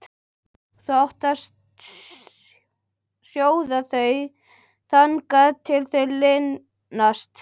Þú átt að sjóða þau þangað til þau linast.